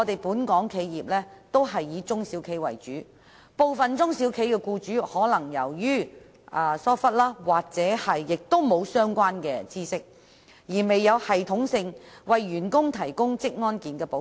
本港企業以中、小型企業為主，部分中小企僱主可能因疏忽或欠缺相關知識而並未有系統地為員工提供職安健保障。